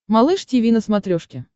малыш тиви на смотрешке